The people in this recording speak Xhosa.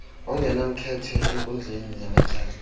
ongenamkhethe enkundleni yamatyala